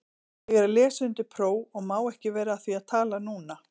Ég er að lesa undir próf og má ekki vera að því að tala núna.